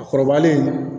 A kɔrɔbalen